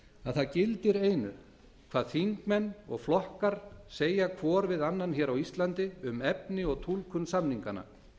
að það gildir einu hvað þingmenn og flokkar segja hér r við annan hér á íslandi um efni og túlkun samninganna